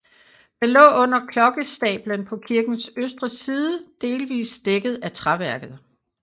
Den lå under klokkestablen på kirkens østre side delsvis dækket af træværket